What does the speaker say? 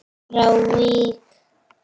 frá Vík.